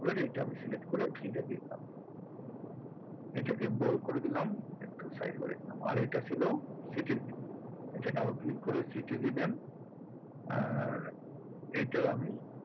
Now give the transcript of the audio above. পুরে এটা select করে এইটা দিয়ে দাও। এটা কে bold করে দিলাম একটু size বাড়িয়ে দিলাম আর এইটা ছিল city র এইটা double click করে city দিয়ে দেন আর এইটা আমি,